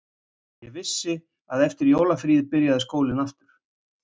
Ég vissi að eftir jólafríið byrjaði skólinn aftur